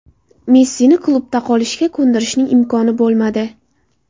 Messini klubda qolishga ko‘ndirishning imkoni bo‘lmadi.